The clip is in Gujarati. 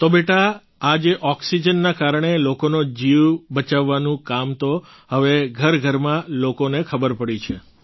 તો બેટા આ જે ઑક્સિજનના કારણે લોકોનો જીવ બચાવવાનું કામ તો હવે ઘરઘરમાં લોકોને ખબર પડી છે